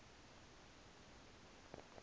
nasekhosini